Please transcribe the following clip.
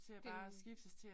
Det